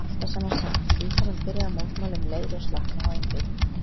Það var alltaf sama sagan, líkaminn byrjaði að mótmæla um leið og slaknaði á einbeitingunni.